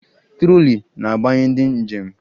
Trọlị na-agbanye ndị njem